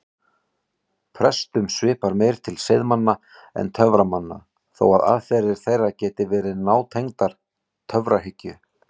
Prestum svipar meir til seiðmanna en töframanna þó að aðferðir þeirra geti verið nátengdar töfrahyggju.